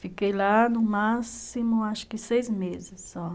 Fiquei lá no máximo, acho que seis meses só.